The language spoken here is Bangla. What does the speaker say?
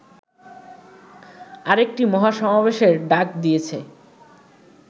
আরেকটি মহাসমাবেশের ডাক দিয়েছে